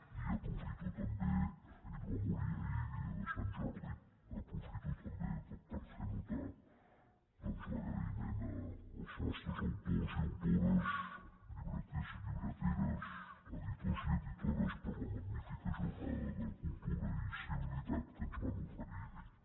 i aprofito també ell va morir ahir dia de sant jordi per fer notar doncs l’agraïment als nostres autors i autores llibreters i llibreteres editors i editores per la magnífica jornada de cultura i civilitat que ens van oferir ahir